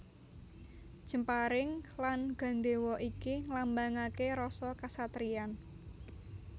Jemparing lan gandhéwa iki nglambangaké rasa kasatriyan